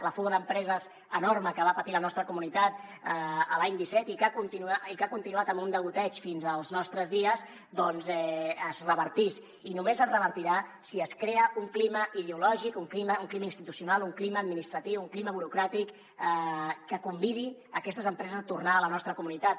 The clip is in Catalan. la fuga d’empreses enorme que va patir la nostra comunitat l’any disset i que ha continuat amb un degoteig fins als nostres dies doncs es revertís i només es revertirà si es crea un clima ideològic un clima institucional un clima administratiu un clima burocràtic que convidi aquestes empreses a tornar a la nostra comunitat